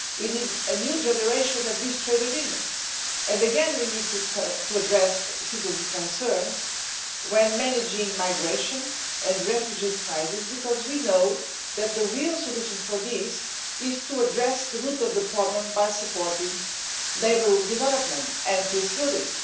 We need a new generation of these trade agreements. Again, we need to address citizens' concerns when managing the migration and refugee crisis because we know that the real solution for this is to address the root of the problem by supporting neighbourhood development and peace building.